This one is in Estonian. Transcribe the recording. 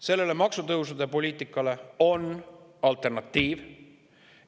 Sellele maksutõusude poliitikale on alternatiiv.